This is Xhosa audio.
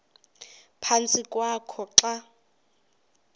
ephantsi kwakho xa